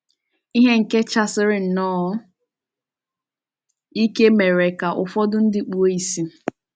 Ìhè nke chasiri nnọọ ike mere ka ụfọdụ ndị kpuo ìsì.